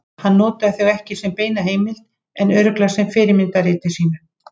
Hann notaði þau ekki sem beina heimild en örugglega sem fyrirmynd að riti sínu.